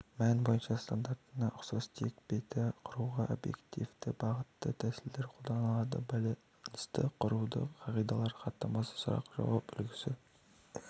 мәні бойынша стандартына ұқсас тек беті құруға объективті-бағытты тәсілдер қолданылады байланысты құрудың қағидалары хаттамасы сұрақ-жауап үлгісі